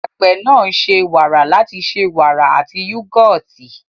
Àgbẹ̀ náà ń ṣe wàrà láti ṣe wàrà àti yúgọ́ọ̀tì.